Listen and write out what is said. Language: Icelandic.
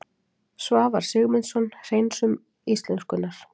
Svavar Sigmundsson: Hreinsun íslenskunnar